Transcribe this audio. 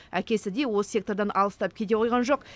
әкесі де осы сектордан алыстап кете қойған жоқ